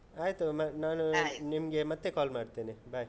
ಆಯ್ತು ಒಮ್ಮೆ ನಾನು ಮತ್ತೆ call ಮಾಡ್ತೇನೆ, bye.